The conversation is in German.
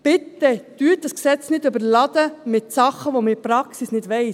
Überladen Sie dieses Gesetz bitte nicht mit Dingen, von denen man in der Praxis nichts weiss.